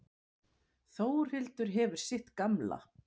Þórhildur hefur sitt gamla.